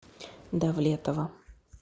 давлетова